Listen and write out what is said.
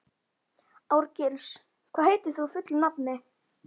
Árgils, hvað heitir þú fullu nafni?